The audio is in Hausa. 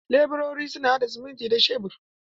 Leburori suna haɗa siminti da shebur.